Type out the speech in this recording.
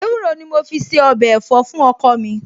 Ewúro ni mo fi se ọbẹ̀ ẹ̀fọ́ fún ọkọ mi